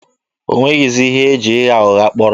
O nwezighị ihe e ji ịgha ụgha kpọrọ.